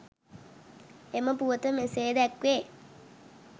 එම පුවත මෙසේ දැක්වේ.